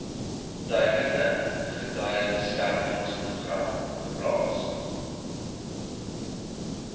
tydelike getuiebeskermingsprogram geplaas